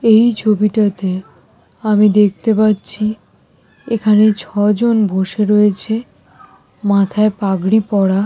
এই ছবিটাতে আমি দেখতে পাচ্ছি এখানে ছজন বসে রয়েছে মাথায় পাগড়ি পরা।